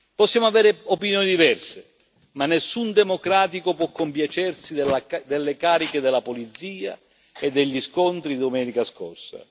Possiamo avere opinioni diverse ma nessun democratico può compiacersi delle cariche della polizia e degli scontri di domenica scorsa.